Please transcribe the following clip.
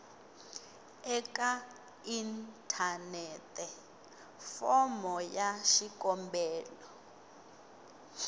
eka inthanete fomo ya xikombelo